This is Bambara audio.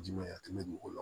Jumɛn a tɛmɛ dugu la